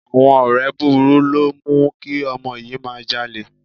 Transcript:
Àwọn ọ̀rẹ́ burúkú ló mú kí ọmọ yìí máa jalè